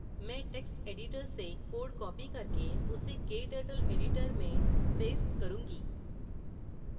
मैं text editor से code copy करके उसे kturtle editor में paste करूँगी